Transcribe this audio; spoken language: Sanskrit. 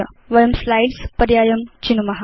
वयं स्लाइड्स् पर्यायं चिनुम